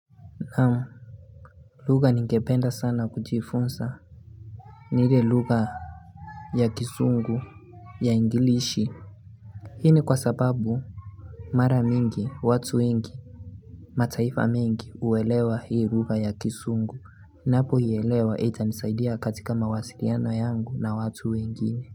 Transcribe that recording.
Naam. Lugha ningependa sana kujifunza. Ni ile lugha ya kizungu ya Englishi. Hii ni kwa sababu mara mingi, watu wengi, mataifa mengi huelewa hii lugha ya kizungu. Napoielewa itanisaidia katika mawasiliano yangu na watu wengine.